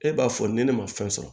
E b'a fɔ ni ne ma fɛn sɔrɔ